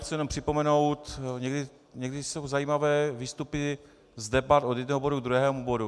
Chci jenom připomenout, někdy jsou zajímavé výstupy z debat od jednoho bodu k druhému bodu.